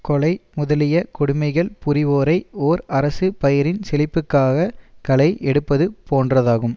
கொலை முதலிய கொடுமைகள் புரிவோரை ஓர் அரசு பயிரின் செழிப்புக்காக களை எடுப்பது போன்றதாகும்